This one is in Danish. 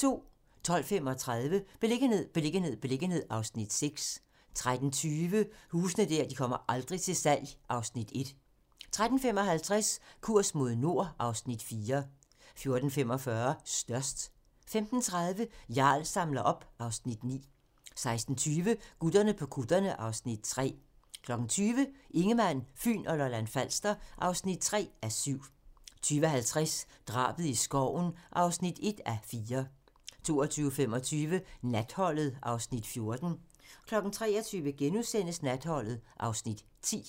12:35: Beliggenhed, beliggenhed, beliggenhed (Afs. 6) 13:20: Huse der aldrig kommer til salg (Afs. 1) 13:55: Kurs mod nord (Afs. 4) 14:45: Størst 15:30: Jarl samler op (Afs. 9) 16:20: Gutterne på kutterne (Afs. 3) 20:00: Ingemann, Fyn og Lolland-Falster (3:7) 20:50: Drabet i skoven (1:4) 22:25: Natholdet (Afs. 14) 23:00: Natholdet (Afs. 10)*